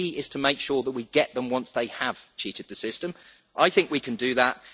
The key is to make sure that we get them once they have cheated the system. I think that we can do that.